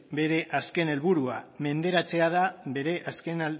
bere azken helburua menderatzea da bere azken